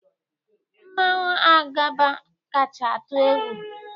Mmanwu Agaba kacha atụ egwu